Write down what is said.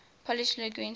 polish linguists